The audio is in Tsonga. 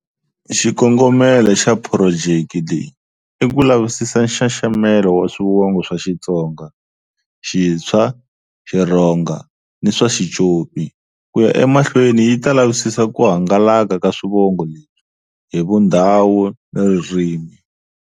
Xikongomelo xa phurojeki leyi i ku lavisisa nxaxamelo wa Swivongo swa Xitsonga, Xitshwa, Xirhonga ni swa Xicopi. Ku ya emahlweni yi ta lavisisa ku hangalaka ka swivongo leswi, hi Vundhawu ni Ririmi.